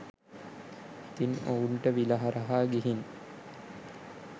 ඉතින් ඔවුන්ට විල හරහා ගිහින්